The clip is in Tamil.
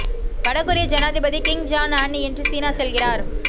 வடகொரிய ஜனாதிபதி கிம் ஜாங் அன் இன்று சீனா செல்கிறார்